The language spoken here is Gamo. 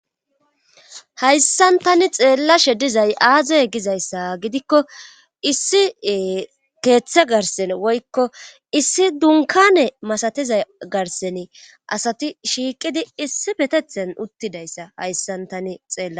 Hayssan tani xeella she dizay aazoy gizayssa gidikko issi keeththe garsen woykko issi dunkane masatiza garsen asati shiiqidi issi patethen uttidayssa hayssan tani xeela.